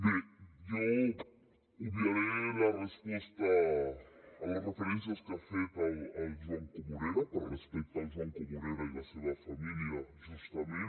bé jo obviaré la resposta a les referències que ha fet el joan comorera per respecte al joan comorera i la seva família justament